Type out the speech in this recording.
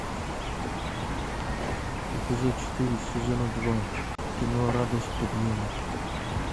эпизод четыре сезона два кино радость подъема